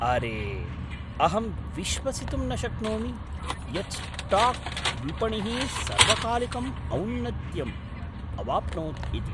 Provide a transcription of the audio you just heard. अरे, अहं विश्वसितुं न शक्नोमि यत् स्टाक् विपणिः सर्वकालिकम् औन्नत्यम् अवाप्नोत् इति!